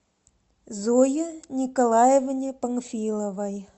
зое николаевне панфиловой